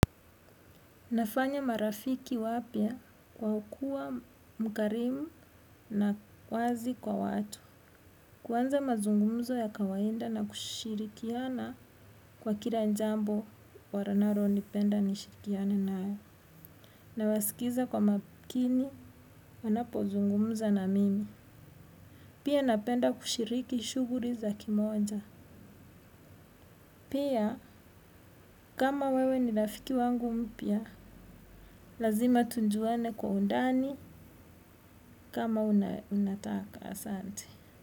Nafanya marafiki wapya kwa kuwa mkarimu na wazi kwa watu. Kwanza mazungumuzo ya kawaida na kushirikiana kwa kila jambo wanalonipenda nishirikiane nayo. Nawasikiza kwa makini wanapozugumza na mimi. Pia napenda kushiriki shughuli za kimoja. Pia kama wewe ni rafiki wangu mpya, lazima tujuane kwa undani kama unataka. Asante.